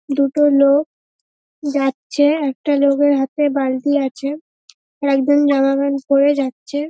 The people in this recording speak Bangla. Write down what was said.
দুটো লোক যাচ্ছে একটা লোকের হাতে বালতি আছে আর একজন জামা প্যান্ট পরে যাচ্ছে।